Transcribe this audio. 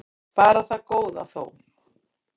Bara það góða þó.